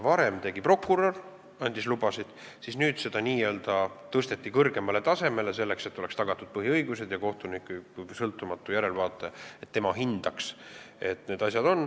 Varem andis prokurör lubasid, nüüd see ülesanne n-ö tõsteti kõrgemale tasemele, et oleks tagatud põhiõigused ja kohtunik kui sõltumatu järelevaataja seda hindaks.